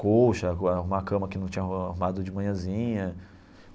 colcha, arrumar cama que não tinha arrumado de manhãzinha.